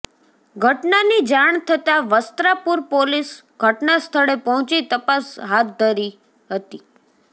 ઘટનાની જાણ થતા વસ્ત્રાપુર પોલીસ ઘટના સ્થળે પહોચી તપાસ હાથ ધરી હતી